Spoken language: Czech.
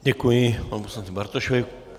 Děkuji panu poslanci Bartošovi.